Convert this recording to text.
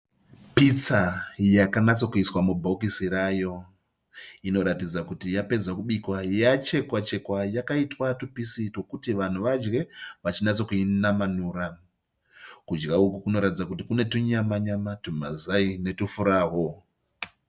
Pitsa yakanatsokuiswa mubhokisi rayo. Inoratidza kuti yapedza kubikwa yachekwa- chekwa yakaitwa twupisi twokuti vanhu vadye vachinatsokuinamanura. Kudya uku kunoratidza kuti kune twunyama -nyama, twumazai netwufurawu.